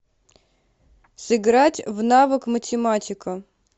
сыграть в навык математика